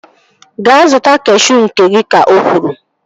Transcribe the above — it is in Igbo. Gaa zụta kashuu nke gị! Ka o kwuru